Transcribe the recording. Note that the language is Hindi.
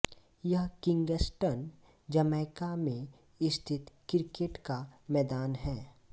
यह किंग्स्टन जमैका में स्थित क्रिकेट का मैदान हैं